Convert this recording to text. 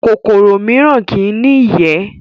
kòkòrò mìíràn kí í ní ìyẹ́